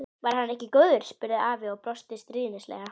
Innst inni vorum við samt búin undir þungan dóm.